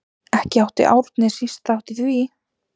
Ekki átti Árni síst þátt í því.